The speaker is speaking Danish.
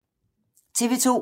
TV 2